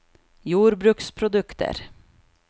jordbruksprodukter